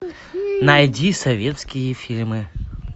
найди советские фильмы